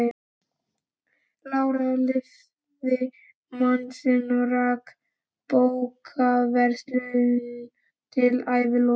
Lára lifði mann sinn og rak bókaverslun til æviloka.